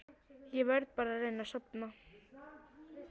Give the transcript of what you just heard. Ég verð bara að reyna að sofna.